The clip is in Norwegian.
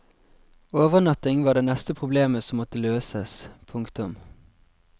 Overnatting var det neste problemet som måtte løses. punktum